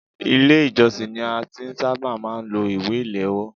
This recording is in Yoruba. Ilé ìjósìn ni a ti ṣábà máà ń lo ìwé ìléwọ́.